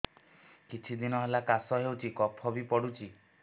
କିଛି ଦିନହେଲା କାଶ ହେଉଛି କଫ ବି ପଡୁଛି